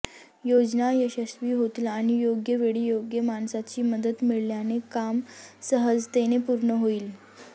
योजना यशस्वी होतील आणि योग्य वेळी योग्य माणसाची मदत मिळाल्याने काम सहजतेने पूर्ण होईल